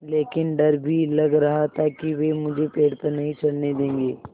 लेकिन डर भी लग रहा था कि वे मुझे पेड़ पर नहीं चढ़ने देंगे